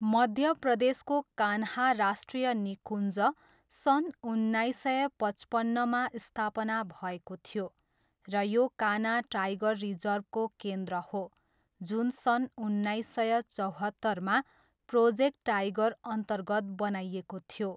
मध्य प्रदेशको कान्हा राष्ट्रिय निकुञ्ज सन् उन्नाइस सय पचपन्नमा स्थापना भएको थियो र यो कान्हा टाइगर रिजर्भको केन्द्र हो, जुन सन् उन्नाइस सय चौहत्तरमा प्रोजेक्ट टाइगरअन्तर्गत बनाइएको थियो।